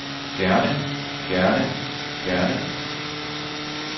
gerne gerne gerne